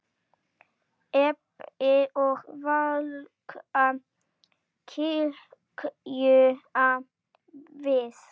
Rebbi og Vaka kíkja við.